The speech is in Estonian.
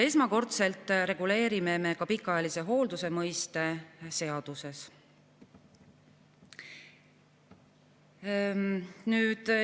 Esmakordselt reguleerime seaduses ka pikaajalise hoolduse mõiste.